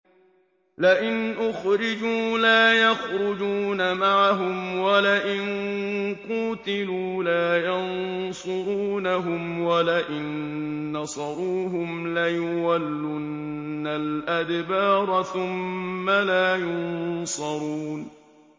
لَئِنْ أُخْرِجُوا لَا يَخْرُجُونَ مَعَهُمْ وَلَئِن قُوتِلُوا لَا يَنصُرُونَهُمْ وَلَئِن نَّصَرُوهُمْ لَيُوَلُّنَّ الْأَدْبَارَ ثُمَّ لَا يُنصَرُونَ